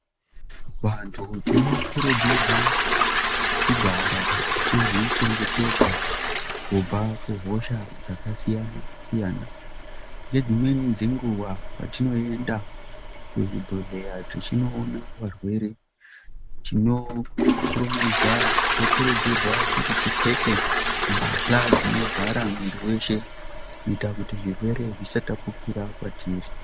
Vantu tinokurudzirwa kugara tichizvichengetedza kubva kuhosha dzakasiyanasiyana nedzimweni dzenguwa patinoenda kuzvibhehlera techinoona varwere tinokurudzirwa kuti tipfeke mbahla dzino vhara mwiri weshe kuita kuti zvirwere zvisatapukira kwatiri.